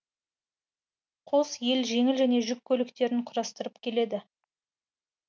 қос ел жеңіл және жүк көліктерін құрастырып келеді